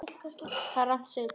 Þetta er rangt segir Páll.